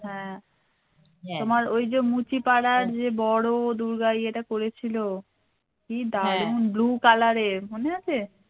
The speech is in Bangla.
হ্যা তোমার ওই যে মুচিপাড়া যে বড় দূর্গা ইয়ে টা করেছিল কি দারুন blue color এর মনে আছে